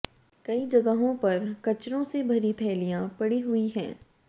कई जगहों पर कचरों से भरी थैलियां पड़ी हुई हैं